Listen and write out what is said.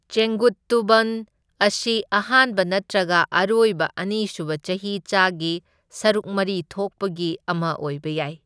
ꯆꯦꯡꯒꯨꯠꯇꯨꯚꯟ ꯑꯁꯤ ꯑꯍꯥꯟꯕ ꯅꯠꯇ꯭ꯔꯒ ꯑꯔꯣꯏꯕ ꯑꯅꯤꯁꯨꯕ ꯆꯍꯤꯆꯥꯒꯤ ꯁꯔꯨꯛ ꯃꯔꯤ ꯊꯣꯛꯄꯒꯤ ꯑꯃ ꯑꯣꯢꯕ ꯌꯥꯏ꯫